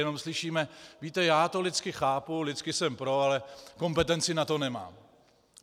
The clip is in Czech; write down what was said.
Jenom slyšíme: Víte, já to lidsky chápu, lidsky jsem pro, ale kompetenci na to nemám.